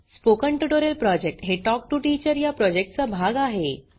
spoken tutorial project हे talk to teacher या प्रॉजेक्टचा भाग आहे